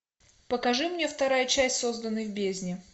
покажи мне вторая часть созданный в бездне